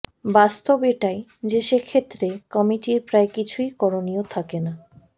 বাস্তব এটাই যে সে ক্ষেত্রে কমিটির প্রায় কিছুই করণীয় থাকে না